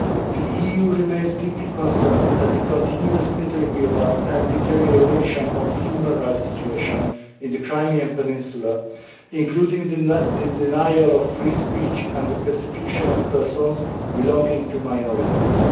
The EU remains deeply concerned at the continuous military build up and deterioration of the human rights situation in the Crimean peninsula, including the denial of free speech and the persecution of persons belonging to minorities.